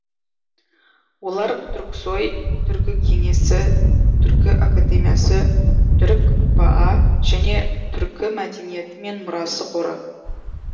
олар түрксои түркі кеңесі түркі академиясы түркпа және түркі мәдениеті мен мұрасы қоры